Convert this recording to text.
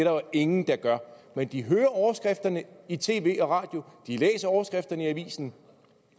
jo ingen der gør men de hører om overskrifterne i tv og radio de læser overskrifterne i avisen